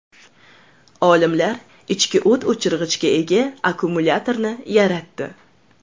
Olimlar ichki o‘t o‘chirgichga ega akkumulyatorni yaratdi.